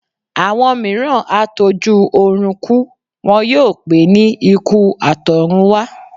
Àwọn mìíràn á tó jú ọrùn kú, wọn yóò pé ní ikú àtọ̀run wá